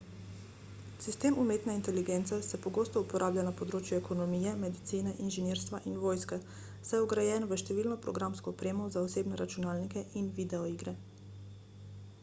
sistem umetne inteligence se pogosto uporablja na področju ekonomije medicine inženirstva in vojske saj je vgrajen v številno programsko opremo za osebne računalnike in videoigre